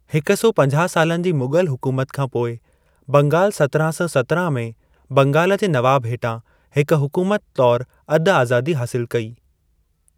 हिकु सौ पंजाहु सालनि जी मुग़ल हुकुमत खां पोइ, बंगाल सतिरहां सौ सतिरहां में बंगाल जे नवाब हेठां हिक हुकुमत तौर अधु-आज़ादी हासिल कई।